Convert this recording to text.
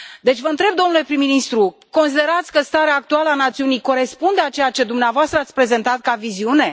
Deci, vă întreb domnule prim ministru considerați că starea actuală a națiunii corespunde cu ceea ce dumneavoastră ați prezentat ca viziune?